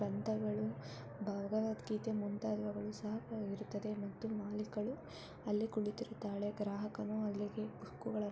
ಗ್ರಂಥಗಳು ಭಗವದ್ಗೀತೆ ಮುಂತಾದವುಗಳು ಸಹ ಇರುತ್ತವೆ ಮತ್ತು ಮಾಲೀಕಳು ಅಲ್ಲಿ ಕುಳಿತಿರುತ್ತಾಳೆ. ಗ್ರಾಹಕನು ಅಲ್ಲಿಗೆ ಬುಕ್ಕುಗಳನ್ನು--